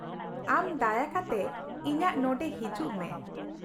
ᱟᱢ ᱫᱟᱭᱟ ᱠᱟᱛᱮ ᱤᱧᱟᱹᱜ ᱱᱚᱸᱰᱮ ᱦᱤᱡᱩᱜ ᱢᱮ ᱾